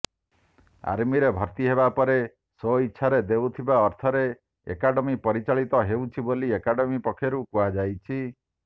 ଆର୍ମିରେ ଭର୍ତ୍ତି ହେବାପରେ ସ୍ୱଇଛାରେ ଦେଉଥିବା ଅର୍ଥରେ ଏକାଡେମୀ ପରିଚାଳିତ ହେଉଛି ବୋଲି ଏକାଡେମି ପକ୍ଷରୁ କୁହାଯାଇଛି